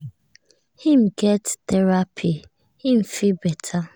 him get therapy him feel better now